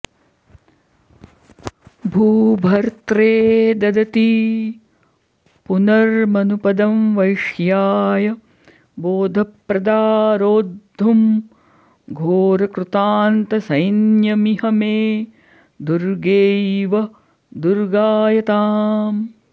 भूभर्त्रे ददती पुनर्मनुपदं वैश्याय बोधप्रदा रोद्धुं घोरकृतान्तसैन्यमिह मे दुर्गैव दुर्गायताम्